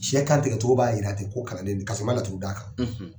Sɛ kantigɛcogo b'a jira ten ko kalanden do ka sɔrɔ i ma laturu d'a kan